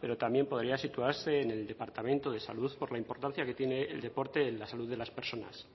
pero también podría situarse en el departamento de salud por la importancia que tiene el deporte en la salud de las personas